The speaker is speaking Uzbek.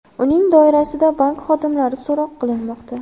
Uning doirasida bank xodimlari so‘roq qilinmoqda.